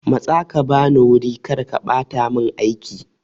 Matsa ka bani wuri!karka bata mun aiki.